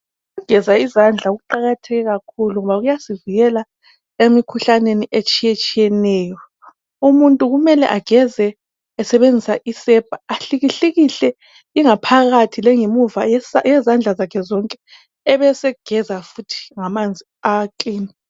Ukugeza izandla kuqakathekile kakhulu ngoba kuyasivikela emikhuhlaneni etshiyetshiyeneyo umuntu kumele ageze esebenzisa isepa ahlikihlikihle ingaphakathi langamevu yezandla zakhe zonke ebesegeza futhi ngamanzi akilini.